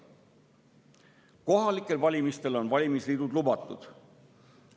Kohalikel valimistel on valimisliidud lubatud.